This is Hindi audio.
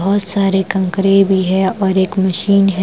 बहुत सारे कंकरे भी है और एक मशीन है ।